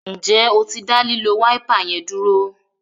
Njé o tí da lilo Wáípà yén dúró?